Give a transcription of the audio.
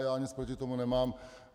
Já nic proti tomu nemám.